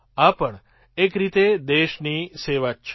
આ પણ એક રીતે દેશની સેવા જ છે